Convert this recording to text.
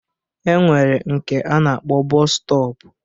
E nwere nke a na-akpọ bọọsu stọp